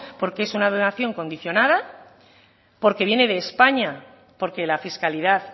porque es una donación condicionada porque viene de españa porque la fiscalidad